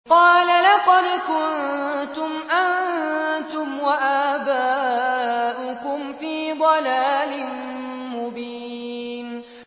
قَالَ لَقَدْ كُنتُمْ أَنتُمْ وَآبَاؤُكُمْ فِي ضَلَالٍ مُّبِينٍ